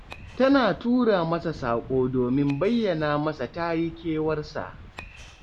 Tana tura masa saƙo domin bayyana masa ta yi kewarsa